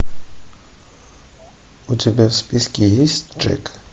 у тебя в списке есть джек